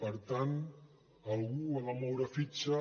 per tant algú ha de moure fitxa